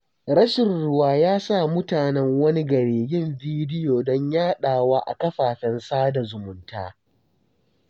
Rashi ruwa ya sa mutanen wani gari yin bidyo don yaɗawa a kafafen sada zumunta.